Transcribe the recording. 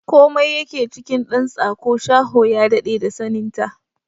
Komai yake cikin ɗan tsako, shaho ya daɗe da sanin ta!